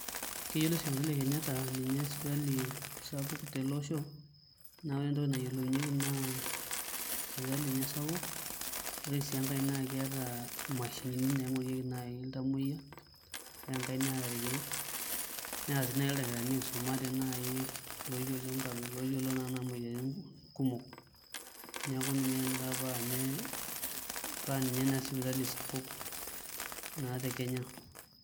Keyioloi sipitali e kenyetta ninye sipitali sapuk teleosho na ore entoki nayiolounyeki na sipitali nye sapuk ore si enkae na keeta mashinini naingorieki nai ltamoyia ore enkae neeta irkiek neeta sii ldakitarini oisumate oyiolo nai kuna moyiaritin kumok neaku ninye nai pa ninye sipitali sapuk naa tekenya.